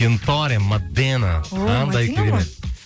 кентори мадэна